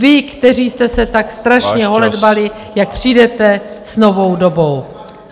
Vy, kteří jste se tak strašně holedbali... jak přijdete s novou dobou.